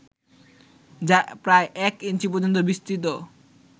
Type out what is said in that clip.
যা প্রায় এক ইঞ্চি পর্যন্ত বিস্তৃত